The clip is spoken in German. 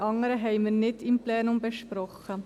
die anderen haben wir nicht im Plenum besprochen.